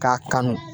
K'a kanu